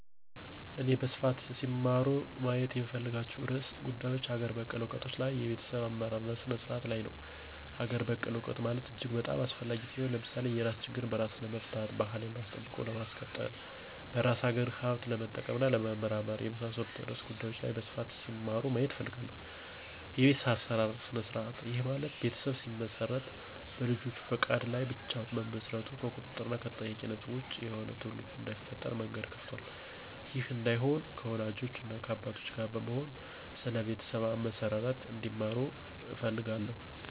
እኔ በስፋት ሲማሩ ማየት የምፈልጋቸው ርዕሰ ጉዳዮች አገር በቀል እውቀቶች ላይ እና የቤተሰብ አመሰራረት ስነ-ስርዓቱ ላይ ነው። -አገር በቀል እውቀት ማለት እጅግ በጣም አስፈላጊ ሲሆን። ለምሳሌ የራስ ችግርን በራስ ለመፍታት፣ ባህልን አስጠብቆ ለማስቀጠል፣ በራስ አገር ሀብት ለመጠቀም እና ለመመራመር፣ የመሳሠሉት ርዕሰ ጉዳዮች ላይ በስፋት ሲማሩ ማየት እፈልጋለሁ። -የቤተሠብ አመሠራርት ስነ-ስርዐቱ፦ ይህ ማለት ቤተሠብ ሲመሰረት በልጆች ፈቃድ ላይ ብቻ መመስረቱ ከቁጥጥር እና ከተጠያቂነት ወጭ የሆነ ትውልድ እዳይፈጠር መንገድ ከፍቷል። ይህ እዳይሆን ከወላጆች እና ከአባቶች ጋር በመሆን ስለ ቤተሠብ አመሠራርቱ እንዲማሩ እፈልጋለሁ